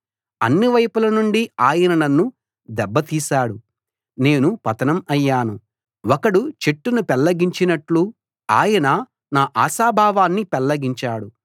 అన్ని వైపుల నుండి ఆయన నన్ను దెబ్బతీశాడు నేను పతనం అయ్యాను ఒకడు చెట్టును పెళ్లగించినట్లు ఆయన నా ఆశాభావాన్ని పెళ్లగించాడు